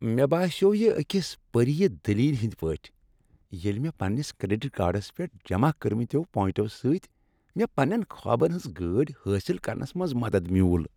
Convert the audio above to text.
مےٚ باسیوو یہ أکس پریہ دلیلہ ہنٛدۍ پٲٹھۍ ییٚلہ مےٚ پنٛنس کریڈٹ کارڈس پیٹھ جمع کٔرۍمتیو پوینٹو سۭتۍ مےٚ پنٛنین خوابن ہٕنٛز گٲڑۍ حٲصل کرنس منٛز مدد میُول۔